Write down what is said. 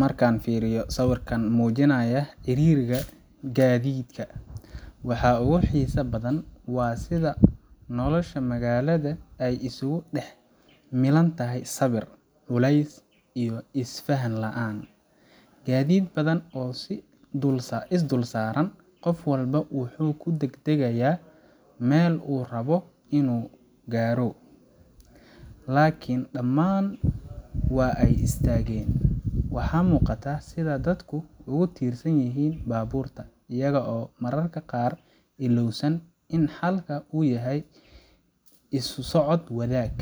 Markaan firinaayo sawirkaan mujinaaya ciririiga gadiidka waxaa oogu xisaha badan waa sida nolosha magaalada isugu dhax milan tahay sabir culeys iyo is fahan laan gadiid badan oo is dhulsaaran qof walbo waxuu ku dhag dhagayaa meel uu rabo inuu gaaro lakin dhamaan waa ay istaagen, waxa muqataa sida dhadka oogu tirsan yihiin baaburka iyaga oo ilawsan mararka qaar inuu xalka uu yahay isusocod wadaag